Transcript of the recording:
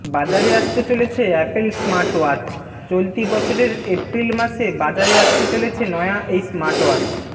বাজারে আসতে চলেছে অ্যাপল স্মার্টওয়াচ চলতি বছরের এপ্রিল মাসে বাজারে আসতে চলেছে নয়া এই স্মার্টওয়াচ